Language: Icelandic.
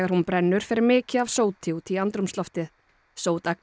hún brennur fer mikið af sóti út í andrúmsloftið